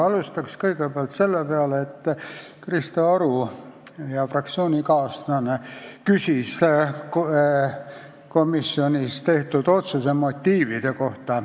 Alustan sellest, et Krista Aru, hea fraktsioonikaaslane, küsis komisjonis tehtud otsuse motiivide kohta.